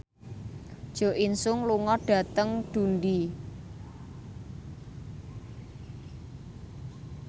Jo In Sung lunga dhateng Dundee